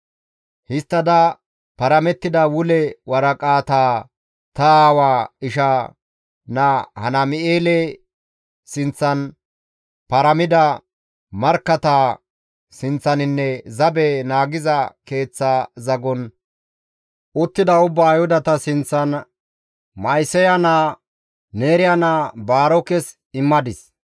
Histtada paramettida wule waraqataa ta aawa ishaa naa Hanaam7eele sinththan, paramida markkatta sinththaninne zabe naagiza keeththa zagon uttida ubbaa Ayhudata sinththan Ma7iseya naa, Neeriya naa Baarokes immadis.